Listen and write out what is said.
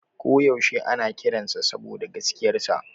Ko yaushe ana kiransa saboda gaskiyarsa.